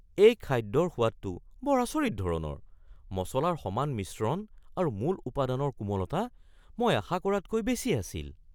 এই খাদ্যৰ সোৱাদটো বৰ আচৰিত ধৰণৰ; মছলাৰ সমান মিশ্ৰণ আৰু মূল উপাদানৰ কোমলতা মই আশা কৰাতকৈ বেছি আছিল।